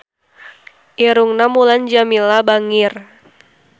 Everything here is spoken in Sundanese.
Irungna Mulan Jameela bangir